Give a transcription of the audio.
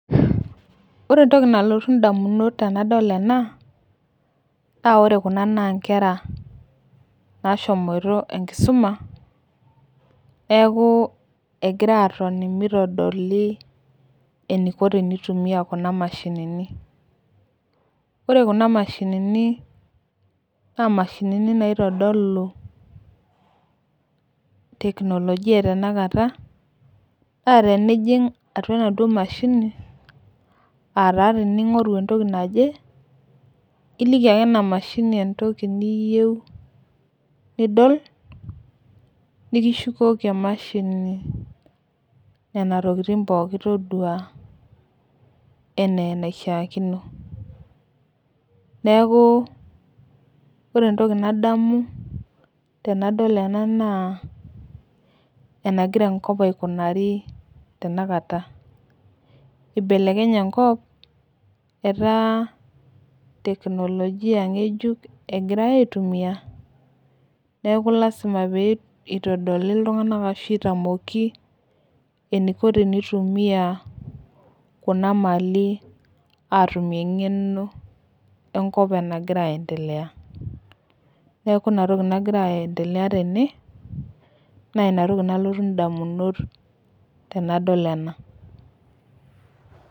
Ore entoki nalotu indamunot tenadol ena, naa ore kuna naa inkera, naashomoito enkisuma, neaku egira aatoni meitodoli eneiko teneitumiya kuna mashinini. Ore kuna mashinini na imashinini naitodolu teknolojia e tenakata, naa tenijing' atua enaduo mashini, aa taa tening'oru entoki naje, iliki ake ena mashini entoki niyou nidol, nekishukoki emashini, nena tokitin pookin todua anaa eneishaakino. Neaku ore entoki nadamu, tenadol ena naa enaigira enkop aikunaari tena kata, eibelekenye enkop etaa teknolojia ng'ejuk egirai aitumiya neaku lazma pee eitodoli iltung'ana ashu etamoki eneiko teneitumiya kuna malin atumie eng'eno enkop nagira aendelea, naa ina toki nalotu indamunot tenadol ena.